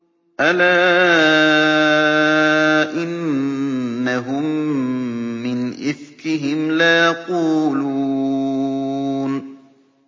أَلَا إِنَّهُم مِّنْ إِفْكِهِمْ لَيَقُولُونَ